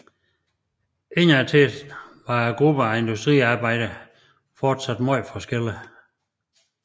Indadtil var gruppen af industriarbejdere fortsat meget forskellige